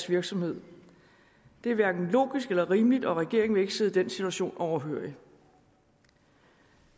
virksomhed det er hverken logisk eller rimeligt og regeringen vil ikke sidde den situation overhørig